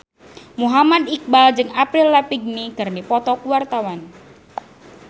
Muhammad Iqbal jeung Avril Lavigne keur dipoto ku wartawan